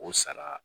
O sara